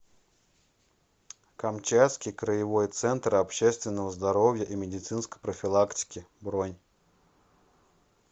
камчатский краевой центр общественного здоровья и медицинской профилактики бронь